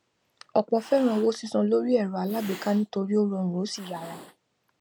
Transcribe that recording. ọpọ féràn owó sísan lórí ẹrọ alágbèéká nítorí ó rọrùn ó sì yára